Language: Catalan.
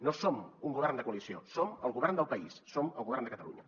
no som un govern de coalició som el govern del país som el govern de catalunya